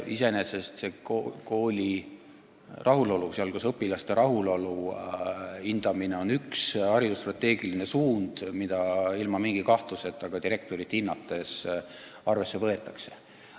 Samas on õpilaste rahulolu hindamine üks haridusstrateegiline suund, mida vähimagi kahtluseta ka direktorit hinnates arvesse võetakse.